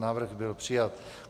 Návrh byl přijat.